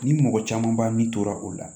Ni mɔgɔ camanba min tora o la